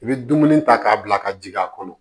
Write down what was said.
I bɛ dumuni ta k'a bila ka ji a kɔnɔ